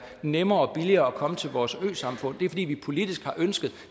nemmere og billigere at komme til vores øsamfund det er fordi vi politisk har ønsket at